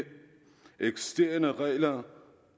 eksisterende regler